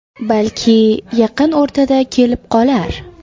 Balki yaqin o‘rtada kelib qolar.